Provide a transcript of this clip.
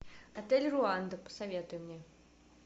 отель руанда посоветуй мне